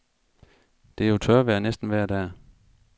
Det er jo tørvejr næsten vejr dag.